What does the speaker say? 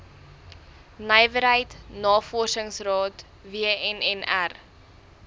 nywerheid navorsingsraad wnnr